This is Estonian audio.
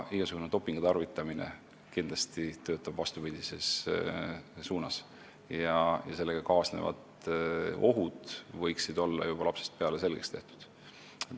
Igasugune dopingu tarvitamine töötab kindlasti vastupidises suunas ja sellega kaasnevad ohud võiksid olla juba lapsest peale selgeks tehtud.